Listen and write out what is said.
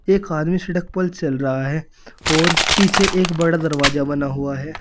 एक आदमी सड़क पर चल रहा है और पीछे एक बड़ा दरवाजा बना हुआ है।